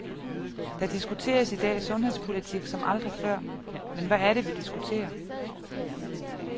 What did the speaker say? Der diskuteres i dag sundhedspolitik som aldrig før, men hvad er det vi diskuterer?